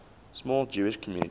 small jewish community